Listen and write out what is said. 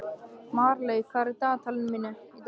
Marley, hvað er í dagatalinu mínu í dag?